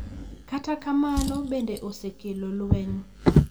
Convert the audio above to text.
Kata kamano, bende osekelo lweny.